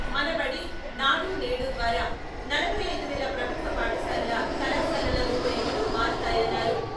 మన బడి, నాడు నేడు ద్వారా నలభై ఐదు వేల ప్రభుత్వ పాఠశాలలు, కళాశాలల రూపురేఖలు మారతాయన్నారు.